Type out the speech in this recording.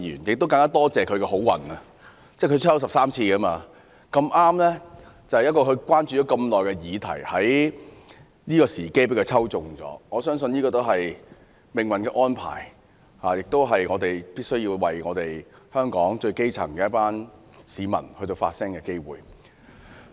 我更感謝他這次的幸運，他已抽籤13次，而他竟在這個時候中籤，恰巧是他關注已久的議題的重要時刻，我相信這是命運的安排，更是我們必須為香港最基層的一群市民發聲的機會。